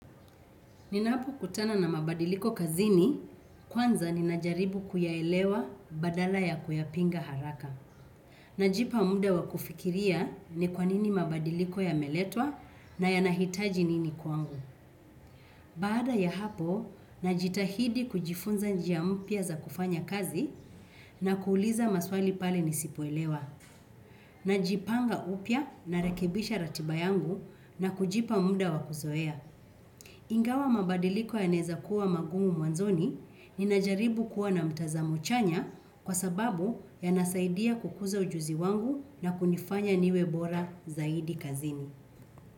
Ninapo kutana na mabadiliko kazini, kwanza ninajaribu kuyaelewa badala ya kuyapinga haraka. Najipa muda wa kufikiria ni kwanini mabadiliko yameletwa na yanahitaji nini kwangu. Baada ya hapo, najitahidi kujifunza njia mpya za kufanya kazi na kuuliza maswali pale nisipo elewa. Najipanga upya na rekebisha ratiba yangu na kujipa muda wa kuzoea. Ingawa mabadiliko ya naeza kuwa mangumu mwanzoni, ninajaribu kuwa na mtazamo chanya kwa sababu yanasaidia kukuza ujuzi wangu na kunifanya niwe bora zaidi kazini.